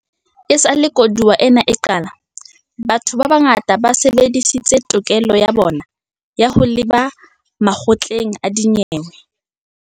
Esale koduwa ena e qala, batho ba bangata ba sebedisitse tokelo ya bona ya ho leba makgotleng a dinyewe.